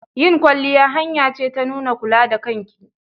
Yin kwalliya hanya ce ta nuna kula da kanki.